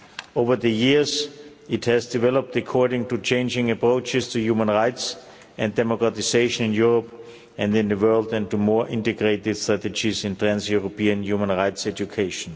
Over the years, it has developed according to changing approaches to human rights and democratisation in Europe and in the world and to more integrated strategies in trans European human rights education.